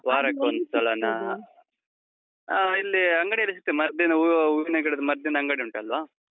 ಆ, ಇಲ್ಲಿ ಅಂಗಡಿಯಲ್ಲಿ ಸಿಕ್ತದೆ. ಮದ್ದಿನ, ಹೂ~ ಹೂವಿನ ಗಿಡದ ಮದ್ದಿನ ಅಂಗಡಿ ಉಂಟಲ್ವ?